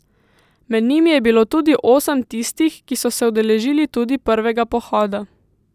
Med njimi je bilo tudi osem tistih, ki so se udeležili tudi prvega pohoda.